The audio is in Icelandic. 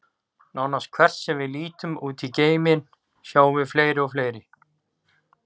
Nánast hvert sem við lítum út í geiminn, sjáum við fleiri og fleiri.